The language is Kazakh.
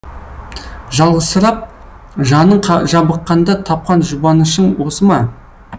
жалғызсырап жаның жабыққанда тапқан жұбанышың осы ма